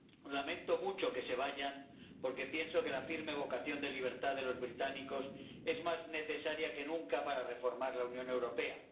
Lamento mucho que se vayan, porque pienso que la firme vocación de libertad de los británicos es más necesaria que nunca para reformar la Unión Europea